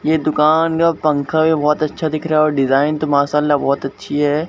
ये दुकान पंखा का बहोत अच्छा दिख रहा और डिजाइन तो मासाअला बहोत अच्छी है।